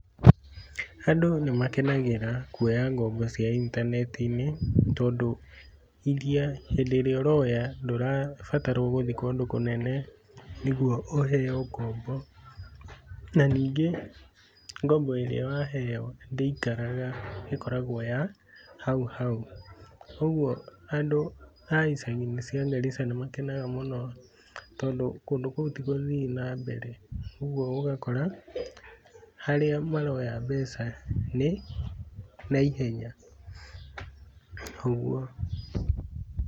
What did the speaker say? Andũ nĩmakenagĩra kuoya ngombo cia intaneti-inĩ, tondũ iria, hĩndĩ ĩrĩa ũroya ndũrabatarwo gũthiĩ kũndũ kũnene nĩguo ũheyo ngombo, na ningĩ ngombo ĩrĩa waheyo ndĩikaraga ĩkoragwo ya hau hau, ũguo andũ a icagi-inĩ cia Garissa nimakenaga mũno, tondũ kũndũ kũu ti gũthiu na mbere, ũguo ũgakora, harĩa maroya mbeca nĩ, naihenya, ũguo.